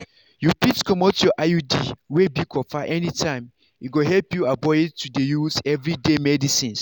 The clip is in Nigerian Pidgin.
you fit comot your iud wey be copper anytime e go help you avoid to dey use everyday medicines.